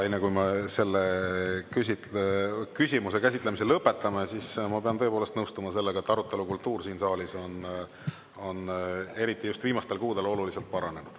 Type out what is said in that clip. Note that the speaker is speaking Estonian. Enne kui me selle küsimuse käsitlemise lõpetame, ma pean tõepoolest nõustuma sellega, et arutelukultuur siin saalis on eriti just viimastel kuudel oluliselt paranenud.